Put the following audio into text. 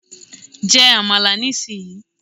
Jẹ Àmàlà ní sì yí!